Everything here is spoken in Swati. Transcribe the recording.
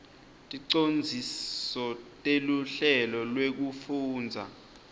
ticondziso teluhlelo lwekufundza